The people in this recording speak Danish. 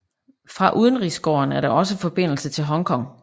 Fra udenrigsgården er der også forbindelse til Hong Kong